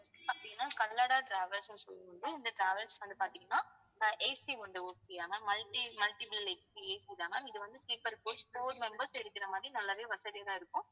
அப்படின்னா travels ன்னு இந்த travels வந்து பார்த்தீங்கன்னா ஆஹ் AC உண்டு okay யா ma'ammulti~ multipleACAC தான் ma'am இது வந்து sleeper coach four members இருக்கிற மாதிரி நல்லாவே வசதியாதான் இருக்கும்